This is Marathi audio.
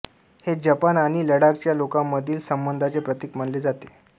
हे जपान आणि लडाखच्या लोकांमधील संबंधांचे प्रतीक मानले जाते